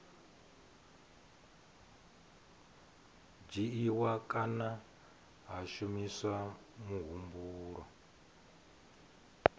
dzhiiwa kana ha shumiswa muhumbulo